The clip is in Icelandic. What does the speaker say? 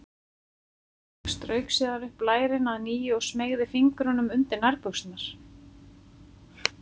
Strauk síðan upp lærin að nýju og smeygði fingrunum undir nærbuxurnar.